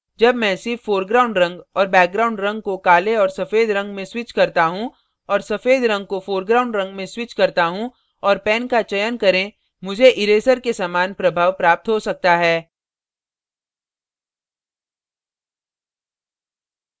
जब मैं सिर्फ foreground रंग और background रंग को काले और सफ़ेद रंग में switch करता हूँ और सफ़ेद रंग को foreground रंग में switch करता हूँ और pen का चयन करें मुझे इरेजर के समान प्रभाव प्राप्त हो सकता है